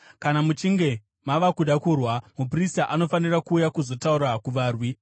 Kana muchinge mava kuda kurwa, muprista anofanira kuuya kuzotaura kuvarwi.